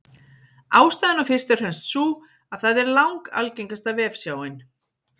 Ástæðan er fyrst og fremst sú að það er langalgengasta vefsjáin.